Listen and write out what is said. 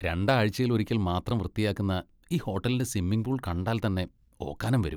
രണ്ടാഴ്ചയിൽ ഒരിക്കൽ മാത്രം വൃത്തിയാക്കുന്ന ഈ ഹോട്ടലിന്റെ സ്വിമ്മിംഗ് പൂൾ കണ്ടാൽ തന്നെ ഓക്കാനം വരും.